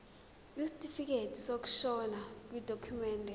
isitifikedi sokushona yidokhumende